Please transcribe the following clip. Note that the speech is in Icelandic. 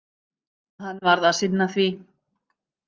Hann varð að sinna því.